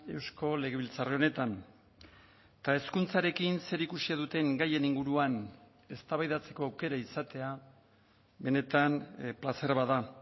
eusko legebiltzar honetan eta hezkuntzarekin zerikusia duten gaien inguruan eztabaidatzeko aukera izatea benetan plazer bat da